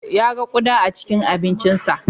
Ya ga ƙuda a cikin abincinsa.